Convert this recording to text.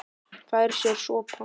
Fær sér sopa.